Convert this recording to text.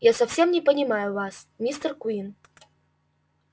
я совсем не понимаю вас мистер куинн